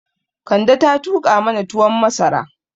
Kande ta tuƙa mana tuwon masara